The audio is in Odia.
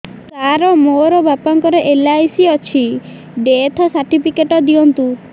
ସାର ମୋର ବାପା ଙ୍କର ଏଲ.ଆଇ.ସି ଅଛି ଡେଥ ସର୍ଟିଫିକେଟ ଦିଅନ୍ତୁ